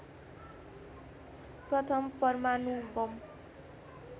प्रथम परमाणु बम